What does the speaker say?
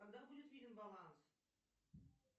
когда будет виден баланс